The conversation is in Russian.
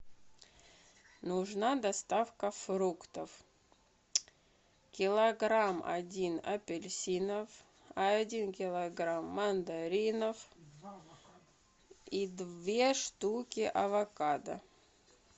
нужна доставка фруктов килограмм один апельсинов один килограмм мандаринов и две штуки авокадо